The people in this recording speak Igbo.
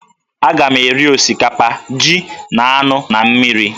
Agam eri osikapa, ji, na anụ na mmiri